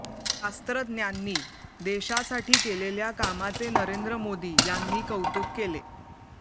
शास्त्रज्ञांनी देशासाठी केलेल्या कामाचे नरेंद्र मोदी यांनी कौतुक केले